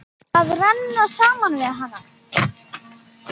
Að renna saman við hana.